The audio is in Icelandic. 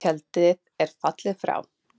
Tjaldið er fallið og frá.